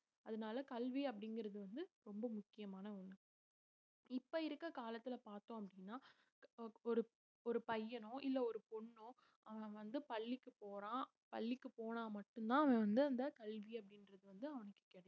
அதனால கல்வி அப்படிங்கிறது வந்து ரொம்ப முக்கியமான ஒண்ணு இப்ப இருக்க காலத்துல பார்த்தோம் அப்படின்னா ஒரு ஒரு பையனோ இல்லை ஒரு பொண்ணோ அவன் வந்து பள்ளிக்கு போறான் பள்ளிக்கு போனா மட்டும்தான் அவன் வந்து அந்த கல்வி அப்படின்றது வந்து அவனுக்கு கிடைக்கும்